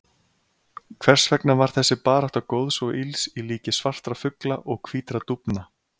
Hvers vegna var þessi barátta góðs og ills í líki svartra fugla og hvítra dúfna?